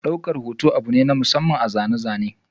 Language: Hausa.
Daukar hoto abu ne na masamman a zane-zane.